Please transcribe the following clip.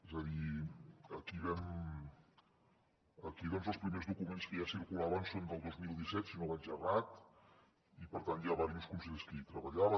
és a dir aquí els primers documents que ja circulaven són del dos mil disset si no vaig errat i per tant hi ha diversos consellers que hi treballaven